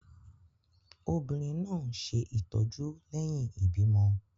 Obìnrin náà ń ṣe ìtọ́jú lẹ́yìn ìbímọ.